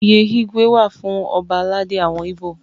Oyè Igwe wà fún ọba aládé àwọn Ibo.